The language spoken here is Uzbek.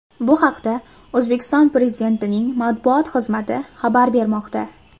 Bu haqda O‘zbekiston Pezidentining matbuot xizmati xabar bermoqda .